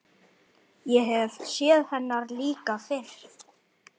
Ég hef séð hennar líka fyrr.